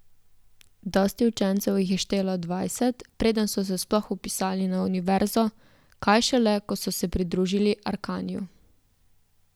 Dosti učencev jih je štelo dvajset, preden so se sploh vpisali na Univerzo, kaj šele, ko so se pridružili Arkaniju.